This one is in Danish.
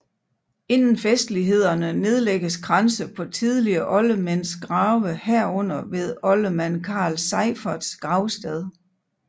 Inden festlighederne nedlægges kranse på tidligere oldermænds grave herunder ved oldermand Carl Seiferts gravsted